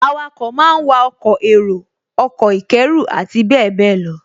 Awakọ̀ máa wa ọkọ̀ èrò, ọkọ̀ ìkẹ́rù àti bẹ́ẹ̀bẹ́ẹ̀ lọ